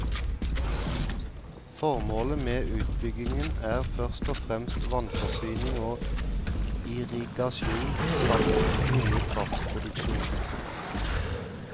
Formålet med utbyggingen er først og fremst vannforsyning og irrigasjon, samt noe kraftproduksjon.